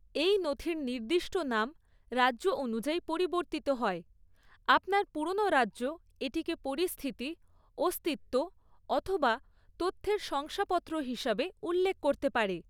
এই নথির নির্দিষ্ট নাম রাজ্য অনুযায়ী পরিবর্তিত হয়; আপনার পুরোনো রাজ্য এটিকে পরিস্থিতি, অস্তিত্ব অথবা তথ্যের শংসাপত্র হিসাবে উল্লেখ করতে পারে।